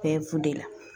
Bɛɛ b'u de la